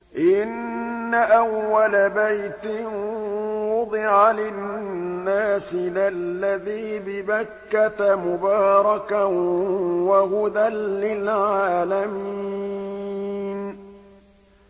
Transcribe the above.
إِنَّ أَوَّلَ بَيْتٍ وُضِعَ لِلنَّاسِ لَلَّذِي بِبَكَّةَ مُبَارَكًا وَهُدًى لِّلْعَالَمِينَ